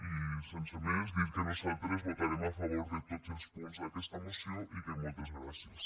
i sense més dir que nosaltres votarem a favor de tots els punts d’aquesta moció i que moltes gràcies